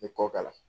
Ni kɔ k'a la